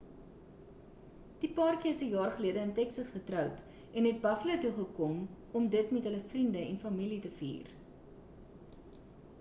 die paartjie is 'n jaar gelede in texas getroud en het buffalo toe gekom om dit met hul vriende en familie te vier